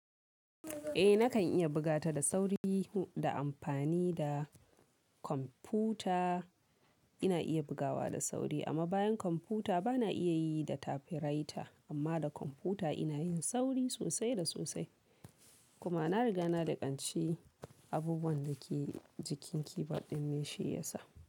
Eh nakan iya buga ta da sauri da amfani da kwamfuta ina iya bugawa da sauri amma bayan kwamfuta bana iya yi da typewriter amma da kwamfuta ina yin sauri sosai da sosai. Kuma na riga na laƙanci abubuwan da ke jikin keyboard din me shi ya sa.